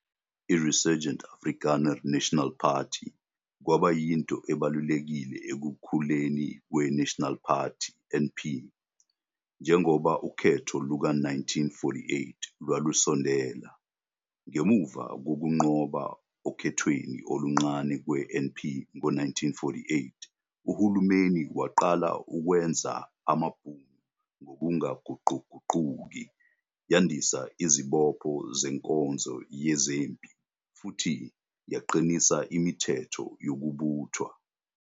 I-Resurgent Afrikaner nationalism kwaba yinto ebalulekile ekukhuleni kweNational Party, NP, njengoba ukhetho luka-1948 lwalusondela. Ngemuva kokunqoba okhethweni oluncane kwe-NP ngo-1948, uhulumeni waqala ukwenza amaBhunu ngokungaguquguquki, yandisa izibopho zenkonzo yezempi futhi yaqinisa imithetho yokubuthwa.